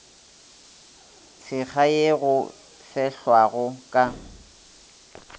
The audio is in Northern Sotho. tshekga ye go fehlwago ka